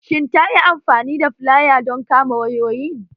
Shin ta yi amfani da filaya don kama wayoyin?